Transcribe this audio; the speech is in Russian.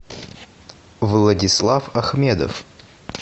владислав ахмедов